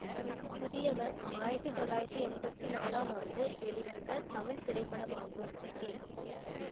புதியவன் ஆயிரத்தி தொள்ளாயிரத்தி எம்பத்தி நாலாம் ஆண்டு வெளிவந்த தமிழ் திரைப்படமாகும் கே